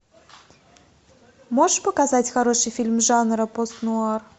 можешь показать хороший фильм жанра постнуар